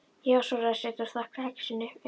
Já, svaraði Sveinn og stakk kexinu upp í sig.